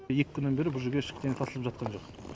екі күннен бері бұл жерге ештеңе тасылып жатқан жоқ